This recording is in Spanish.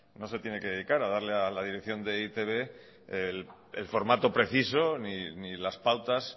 no se tiene que dedicar a darle a la dirección de e i te be el formato preciso ni las pautas